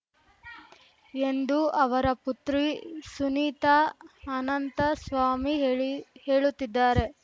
ಎಂದು ಅವರ ಪುತ್ರಿ ಸುನೀತಾ ಅನಂತಸ್ವಾಮಿ ಹೇಳಿ ಹೇಳುತ್ತಿದ್ದಾರೆ